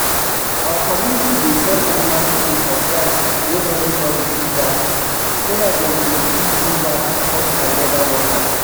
our community dey sell animal skin for price wey everybody fit buy so dat dem go fit use an support our leather workers